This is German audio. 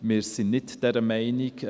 Wir sind nicht dieser Meinung.